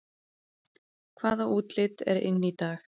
Hvaða útlit er inn í dag